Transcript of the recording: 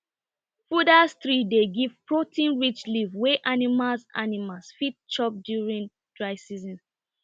fooders trees dey give proteinrich leaves wey animals animals fit chop during dry season